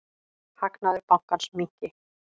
Hagnaður bankans minnki.